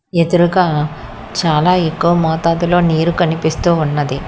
ఎదురుగ చాలా ఎక్కువ మోతాదులో నీరు కనిపిస్తూ ఉన్నది.